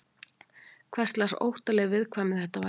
Hverslags óttaleg viðkvæmni þetta væri?